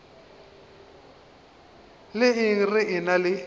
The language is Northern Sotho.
la eng re ena le